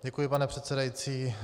Děkuji, pane předsedající.